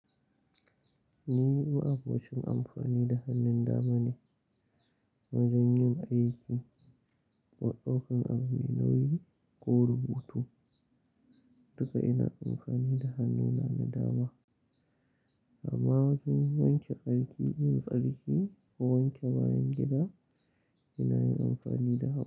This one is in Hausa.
Ni ma'abocin amfani da hannun dama ne. Wajenyin aiki, ko daukan abu mai nauyi ko rubutu, duka ina amfani da hannuna na dama. Amma wajen wanke tsarki, yin tsarki ko wanke bayan gida ina yin amfani da hagu.